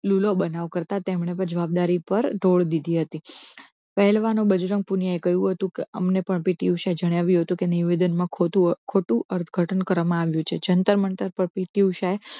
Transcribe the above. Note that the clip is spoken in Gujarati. લૂલો બનાવ કરતા તેમણે પણ જવાબદારી પર ઢોળી દીધી હતી પહેલવાનો બજરંગ પુનીયાએ કહ્યું હતું કે અમને પણ PT ઉષા જણાવ્યું હતું કે નિવેદનમાં ખોટું ખોટું અર્થ ઘટન કરવામાં આવ્યું છે જંતર મંતર પર PT ઉષા એ